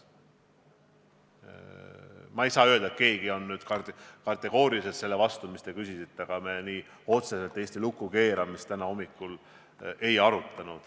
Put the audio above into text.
Ma ei saa öelda, et keegi oleks sellele, mis te küsisite, kategooriliselt vastu, aga otseselt Eesti lukku keeramist me täna hommikul ei arutanud.